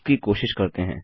इसकी कोशिश करते हैं